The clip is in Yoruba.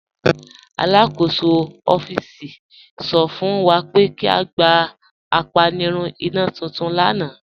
Alakọsọ ọffíísì sọ fún wa pé kí a gbà àpànìrùn ìnà tuntun lána.